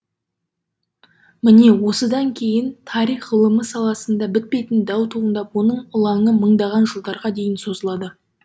міне осыдан кейін тарих ғылымы саласында бітпейтін дау туындап оның ылаңы мыңдаған жылдарға дейін созылады